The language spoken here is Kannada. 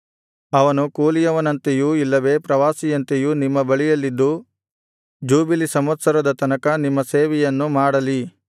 ಅವನು ಕೂಲಿಯವನಂತೆಯೂ ಇಲ್ಲವೇ ಪ್ರವಾಸಿಯಂತೆಯೂ ನಿಮ್ಮ ಬಳಿಯಲ್ಲಿದ್ದು ಜೂಬಿಲಿ ಸಂವತ್ಸರದ ತನಕ ನಿಮ್ಮ ಸೇವೆಯನ್ನು ಮಾಡಲಿ